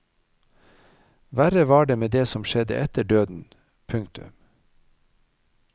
Verre var det med det som skjedde etter døden. punktum